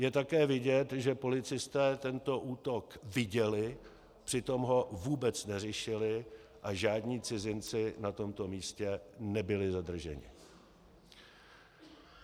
Je také vidět, že policisté tento útok viděli, přitom ho vůbec neřešili a žádní cizinci na tomto místě nebyli zadrženi.